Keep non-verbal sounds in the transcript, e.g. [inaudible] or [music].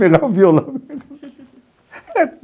Pegava o violão. [laughs]